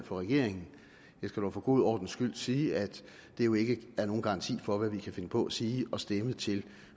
for regeringen jeg skal dog for god ordens skyld sige at det jo ikke er nogen garanti for hvad vi kan finde på at sige og stemme til